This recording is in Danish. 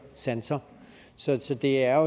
sanser sanser det er jo